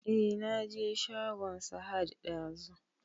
E na je shagon Sahad ɗazu